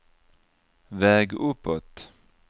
väg uppåt